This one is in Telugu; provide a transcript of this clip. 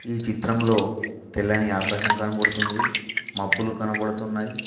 ఈ చిత్రంలో తెల్లని ఆకాశం కనబడుతుంది మబ్బులు కనబడుతున్నాయి.